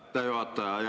Aitäh, juhataja!